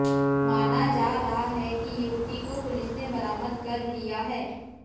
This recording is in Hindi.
माना जा रहा है कि युवती को पुलिस ने बरामद कर लिया है